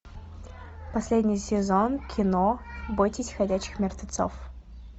последний сезон кино бойтесь ходячих мертвецов